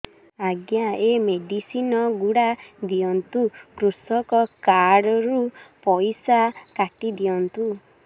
ଆଜ୍ଞା ଏ ମେଡିସିନ ଗୁଡା ଦିଅନ୍ତୁ କୃଷକ କାର୍ଡ ରୁ ପଇସା କାଟିଦିଅନ୍ତୁ